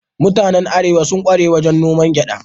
Mutanen Arewa sun kware wajen noman gyada.